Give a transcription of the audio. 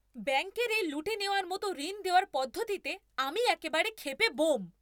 ব্যাঙ্কের এই লুটে নেওয়ার মতো ঋণ দেওয়ার পদ্ধতিতে আমি একেবারে ক্ষেপে ব্যোম।